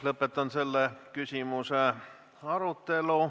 Lõpetan selle küsimuse arutelu.